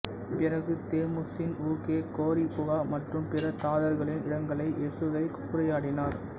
பிறகு தெமுசின் ஊகே கோரிபுகா மற்றும் பிற தாதர்களின் இடங்களை எசுகை சூறையாடினார்